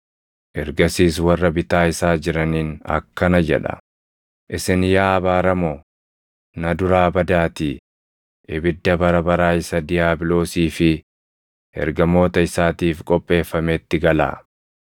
“Ergasiis warra bitaa isaa jiraniin akkana jedha; ‘Isin yaa abaaramoo, na duraa badaatii ibidda bara baraa isa diiyaabiloosii fi ergamoota isaatiif qopheeffametti galaa.